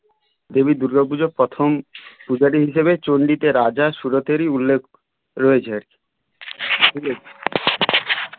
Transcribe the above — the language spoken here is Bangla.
দেবী দূর্গা পুজো প্রথম পূজারী হিসাবে চন্ডীতে রাজা সুরতেরই উল্লেখ রয়েছে ঠিক আছে